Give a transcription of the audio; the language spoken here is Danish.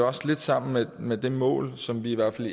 også lidt sammen med med det mål som vi i hvert fald